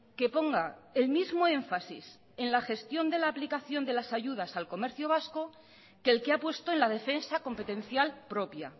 que ponga el mismo énfasis en la gestión de la aplicación de las ayudas al comercio vasco que el que ha puesto en la defensa competencial propia